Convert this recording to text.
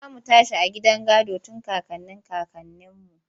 Za mu tashi daga gidan gado tun kakannin kakanninmu.